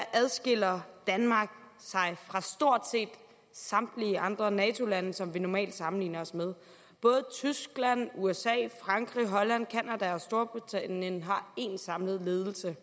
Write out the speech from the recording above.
adskiller danmark sig fra stort set samtlige andre nato lande som vi normalt sammenligner os med både tyskland usa frankrig holland canada og storbritannien har én samlet ledelse